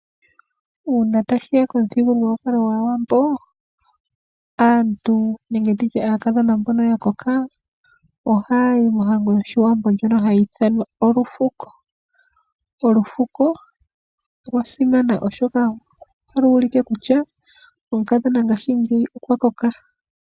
Uuna tashiya komuthigululwakalo gwaawambo aantu nenge nditye aakadhona mbono ya koka ohaya yi mohango yoshiwambo ndjoka hayi ithanwa olufufuko, olufufuko olwasimana oshoka otalu ulike kutya omukadhona ngashingeyi okwa koka.